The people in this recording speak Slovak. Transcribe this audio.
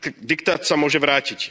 Diktát sa môže vrátiť.